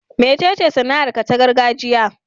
Mecece sana'arka ta gargajiya?